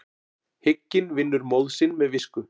Hygginn vinnur móð sinn með visku.